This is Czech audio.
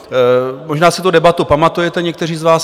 Možná si tu debatu pamatujete někteří z vás.